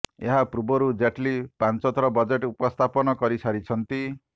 ଏହା ପୂର୍ବରୁ ଜେଟଲୀ ପାଞ୍ଚ ଥର ବଜେଟ୍ ଉପସ୍ଥାପନ କରିସାରିଛନ୍ତି